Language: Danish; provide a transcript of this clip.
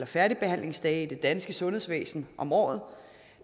færdigbehandlingsdage i det danske sundhedsvæsen om året